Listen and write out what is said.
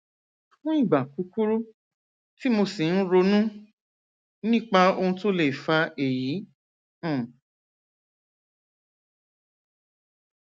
fún ìgbà kúkúrú tí mo sì ń ronú nípa ohun tó lè fa èyí um